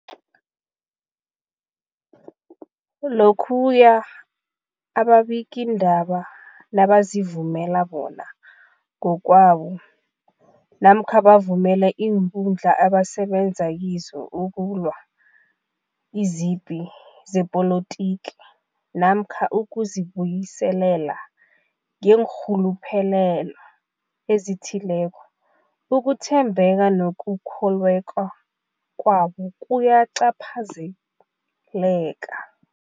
Lokhuya ababikiindaba nabazivumela bona ngokwabo namkha bavumele iinkundla abasebenza kizo ukulwa izipi zepolitiki namkha ukuzi buyiselela ngeenrhuluphelo ezithileko, ukuthembeka nokukholweka kwabo kuyacaphazeleka.